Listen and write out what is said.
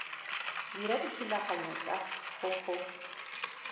dira dithulaganyo tsa go go